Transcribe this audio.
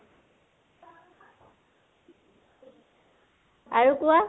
আৰু কোৱা